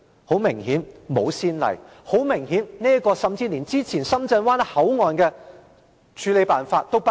很明顯，沒有先例；很明顯，這個甚至連之前深圳灣口岸的處理辦法也不如。